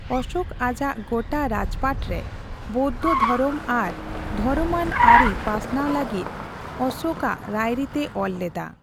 ᱚᱥᱳᱠ ᱟᱡᱟᱜ ᱜᱚᱴᱟ ᱨᱟᱡᱽᱯᱟᱴ ᱨᱮ ᱵᱳᱣᱫᱽᱫᱷᱚ ᱫᱷᱚᱨᱚᱢ ᱟᱨ 'ᱫᱷᱚᱨᱚᱢᱟᱱ ᱟᱹᱨᱤ'' ᱯᱟᱥᱱᱟᱣ ᱞᱟᱹᱜᱤᱫ ᱚᱥᱳᱠ ᱟᱜ ᱨᱟᱭᱨᱤᱛ ᱮ ᱚᱞ ᱞᱮᱫᱟ ᱾